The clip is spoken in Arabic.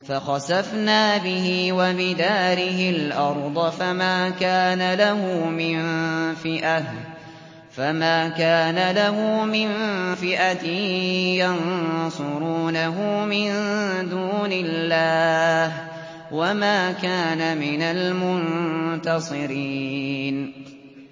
فَخَسَفْنَا بِهِ وَبِدَارِهِ الْأَرْضَ فَمَا كَانَ لَهُ مِن فِئَةٍ يَنصُرُونَهُ مِن دُونِ اللَّهِ وَمَا كَانَ مِنَ الْمُنتَصِرِينَ